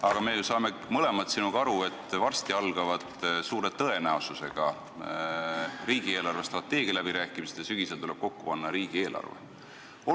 Aga me ju saame mõlemad sinuga aru, et varsti algavad suure tõenäosusega riigi eelarvestrateegia läbirääkimised ja sügisel tuleb kokku panna riigieelarve.